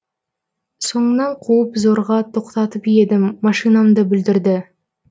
соңынан қуып зорға тоқтатып едім машинамды бүлдірді